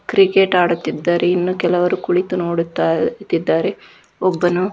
cricket ಆಡುತ್ತಿದ್ದಾರೆ ಇನ್ನು ಕೆಲವರು ಕುಳಿತು ನೋಡುತ್ತಿದ್ದಾರೆ ಒಬ್ಬನು --